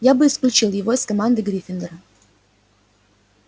я бы исключил его из команды гриффиндора